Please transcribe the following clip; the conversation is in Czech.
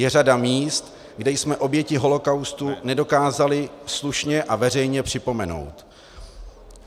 Je řada míst, kde jsme oběti holokaustu nedokázali slušně a veřejně připomenout.